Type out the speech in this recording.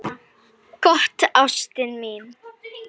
Gott, ástin mín.